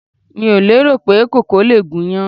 Mi ò lérò pé koko lè gúnyán.